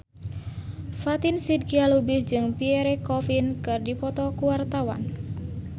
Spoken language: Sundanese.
Fatin Shidqia Lubis jeung Pierre Coffin keur dipoto ku wartawan